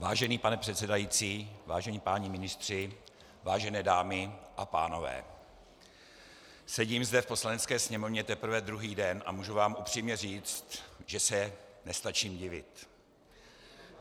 Vážený pane předsedající, vážení páni ministři, vážené dámy a pánové, sedím zde v Poslanecké sněmovně teprve druhý den a můžu vám upřímně říct, že se nestačím divit.